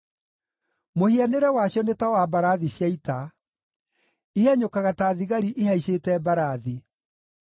Mũhianĩre wacio nĩ ta wa mbarathi cia ita; ihanyũkaga ta thigari ihaicĩte mbarathi.